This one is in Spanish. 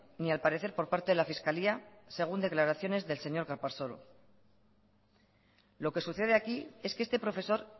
ni al parecer por parte de la fiscalía según declaraciones del señor calparsoro lo que sucede aquí es que este profesor